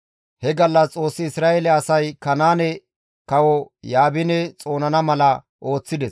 He gallas Xoossi Isra7eele asay Kanaane kawo Yaabine xoonana mala ooththides.